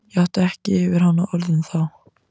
Ég átti ekki yfir hana orðin þá.